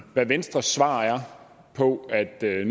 hvad venstres svar er på at nye